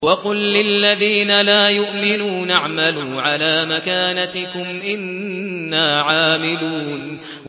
وَقُل لِّلَّذِينَ لَا يُؤْمِنُونَ اعْمَلُوا عَلَىٰ مَكَانَتِكُمْ إِنَّا عَامِلُونَ